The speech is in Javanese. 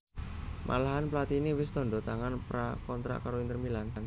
Malahan Platini wis tandha tangan pra kontrak karo Inter Milan